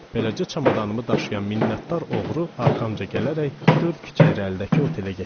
Beləcə çamadanımı daşıyan minnətdar oğru arxamca gələrək dörd küçə irəlidəki otelə getdik.